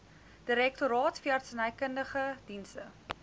direktoraat veeartsenykundige dienste